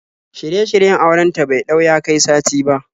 Shirye-shiryen auren ta bai ɗau ya kai sati ba.